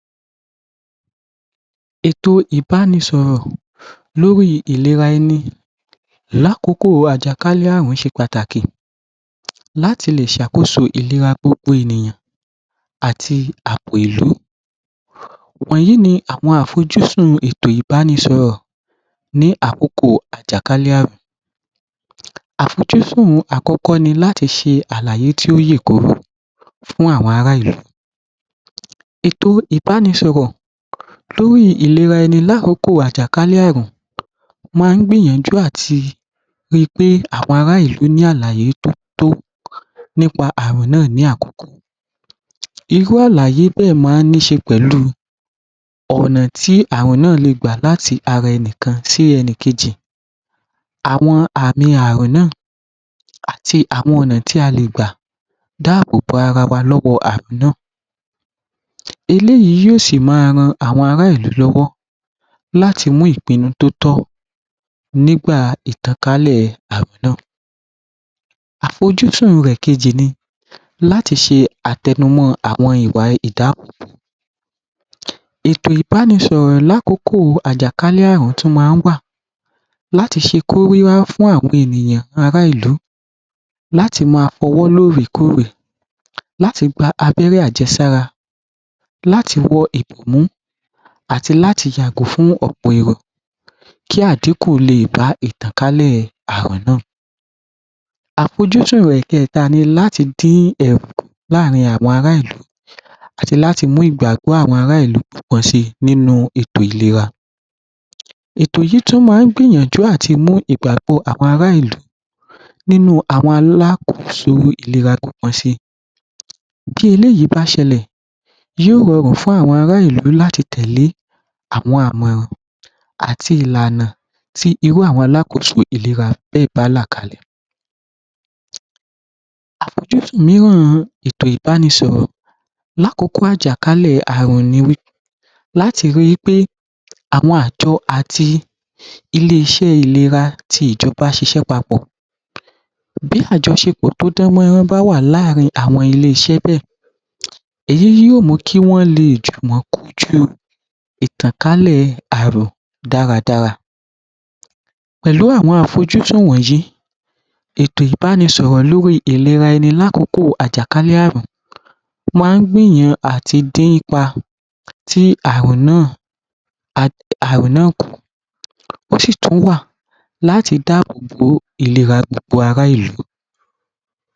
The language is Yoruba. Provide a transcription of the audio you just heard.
Ètò ìbánisọ̀rọ̀ lórí ìlera ẹni lákòókò àjàkálẹ̀ ààrùn ṣe pàtàkì um láti lè ṣàkóso ìlera gbogbo ènìyàn àti àbò ìlú. Wọ̀nyí ni àwọn àfojúsùn ètò ìbánisọ̀rọ̀ ní àkókò àjàkálẹ̀ ààrùn. Àfojúsùn àkọ́kọ́ ni láti ṣe àláyé tó yé koro fún àwọn ara ìlú um ètò ìbánisọ̀rọ̀ lórí ìlera ẹni lákòókò àjàkálẹ̀ ààrùn máa ń gbìyànjú àti ri pé àwọn ará ìlú ní àlàyé tó tó nípa ààrùn náà ní àkokò um irú àlàyé bẹ́ẹ̀ máa ń ní ṣe pẹ̀lú ọ̀nà tí ààrùn náà lè gbà láti ara ẹni kan sí ẹni kejì. Àwọn àmì ààrùn náà àti àwọn ọ̀nà tí a lè gbà dáàbòbo ara wa lọ́wọ́ ààrùn náà, eléyìí yóò sì máa ran àwọn ará ìlú lọ́wọ́ láti mú ìpinnu tó tọ́ nígbà ìtànkálẹ̀ ààrùn náà. Àfojúsùn rẹ̀ kejì ni láti ṣe àtẹnumọ́ àwọn ìwà ìdáàbòbò[um] ètò ìbánisọ̀rọ̀ lákòókò àjákálẹ̀ ààrùn tún máa ń wà láti ṣe kóríyá fún àwọn ènìyàn ará ìlú láti máa fọwọ́ lóòrèkóòrè, láti gba abẹ́rẹ́ àjẹsára, láti wọ ìbòmú àti láti yàgò fún ọ̀pọ̀ èrò kí àdínkù lè bá ìtànkálẹ̀ ààrùn náà. Àfojúsùn rẹ̀ kẹta ni láti dín ẹ̀rù kù láàrin àwọn ará ìlú àti láti mú ìgbàgbọ́ àwọn ará ìlú pọ̀ sí nínú ètò ìlera. Ètò yìí tún máa gbìyànjú láti mú ìgbàgbọ́ àwọn ará ìlú nínú àwọn alákoso si. Tí eléyìí bá ṣẹlẹ̀, yóò rọrùn fún àwọn ará ìlú láti tẹ̀lé àwọn àmọ̀ràn àti ìlànà tí irú àwọn alákoso bẹ́ẹ̀ bá là kalẹ̀. Àfojúsùn mìíràn ni ètò ìbánisọ̀rọ̀ lákòókò àjàkálẹ̀ ààrùn ni láti rí i wí pé àwọn àjọ àti ilé-ìṣẹ́ ìlera ti ìjọba ṣiṣẹ́ papọ̀, bí àjọṣepọ̀ tó dánmọ́rán bá wà láàrin àwọn iléeṣẹ́ bẹ́ẹ̀, èyí ni yóò muh kí wọ́n lè jùmọ̀ kojú ìtànkálẹ̀ ààrùn dáradára. Pẹ̀lú àwọn àfojúsùn wọ̀nyí, ètò ìbánisọ̀rọ̀ lórí ìlera ẹni lákòókò àjàkálẹ̀ ààrùn máa ń gbìyàn àti dí ipa tí ààrùn náà um ààrùn náà kù, ó sì tún wà láti dáàbòbo ìlera gbogbo ará ìlú.